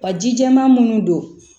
Wa ji jɛman munnu don